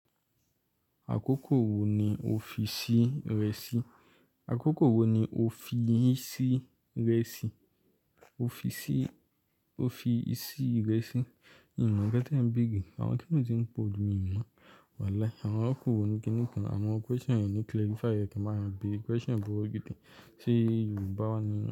Àkókò wo ni o fi sí ìrẹsì? Àkókò wo ni o fi sí ìrẹsì? O fi sí, o fi sí ìrẹsì. Ìmọ̀ gẹ́tò ń bìgì. Àwọn kí ló ti ń po jù mí mọ́. Wàhálà. Àwọn ọlọ́kò wo nìkìní kàn án. Àwọn question ò ní clarify rẹ̀ kí a máa mọ bí question bóò gídín. Sé Yorùbá ni.